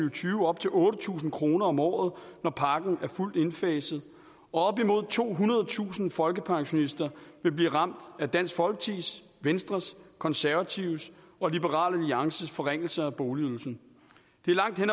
og tyve op til otte tusind kroner om året når pakken er fuldt indfaset og op imod tohundredetusind folkepensionister vil blive ramt af dansk folkepartis venstres de konservatives og liberal alliances forringelser af boligydelsen det er langt hen